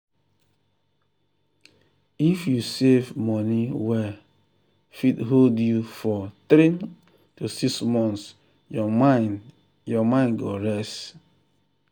if you save money wey fit hold you for 3–6 months your mind mind go rest.